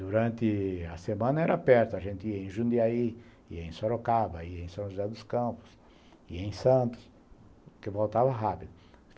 Durante a semana era perto, a gente ia em Jundiaí, ia em Sorocaba, ia em São José dos Campos, ia em Santos, porque voltava rápido.